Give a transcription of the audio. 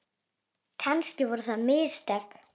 Kannski voru það mistök.